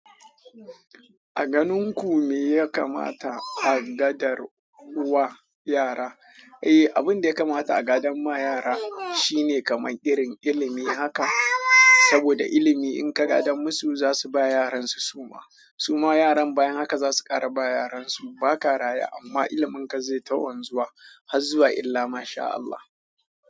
A ganin ku me ya kamata a gadar wa yara? Eh, abin da ya kamata a gadar ma yara shine kamar irin ilimi haka. Saboda ilimi in ka gadan musu, za su ba yaran su suma. Suma yaran bayan haka za su kara ba yaran su. Ba ka raye amma ilimin ka zai ta wanzuwa har zuwa illa Masha Allah.